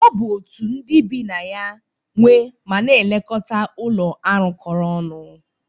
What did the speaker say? Ọ bụ otu ndị bi na ya nwe ma na-elekọta ụlọ arụkọ ọnụ.